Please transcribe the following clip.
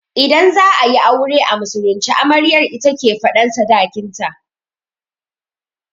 Idan za'ayi aure a musulunce, amaryar ita ke faɗan sadakin ta